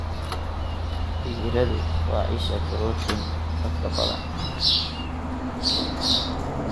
Digiradu waa isha borotiin dadka badan.